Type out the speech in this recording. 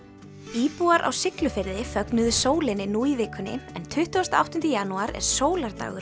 íbúar á Siglufirði fögnuðu sólinni nú í vikunni en tuttugasta og áttunda janúar er